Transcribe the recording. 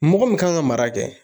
Mɔgɔ min kan ka mara kɛ